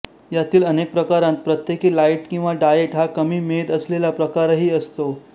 यातील अनेक प्रकारांत प्रत्येकी लाइट किंवा डायेट हा कमी मेद असलेला प्रकारही असतो